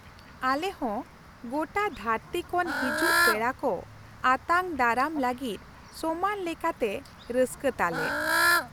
ᱟᱞᱮ ᱦᱚᱸ ᱜᱚᱴᱟ ᱫᱷᱟᱹᱨᱛᱤ ᱠᱷᱚᱱ ᱠᱚ ᱦᱤᱡᱩᱜ ᱯᱮᱲᱟ ᱠᱚ ᱟᱛᱟᱝ ᱫᱟᱨᱟᱢ ᱞᱟᱹᱜᱤᱫ ᱥᱚᱢᱟᱱ ᱞᱮᱠᱟᱛᱮ ᱨᱟᱹᱥᱠᱟᱹ ᱛᱟᱞᱮ ᱾